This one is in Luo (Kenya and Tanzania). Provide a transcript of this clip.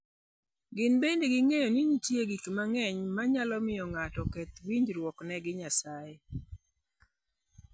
Gin bende ging'eyo ni nitie gik mang'eny manyalo miyo ng'ato oketh winjruokne gi Nyasaye.